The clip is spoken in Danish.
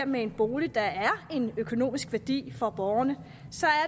med en bolig der er en økonomisk værdi for borgerne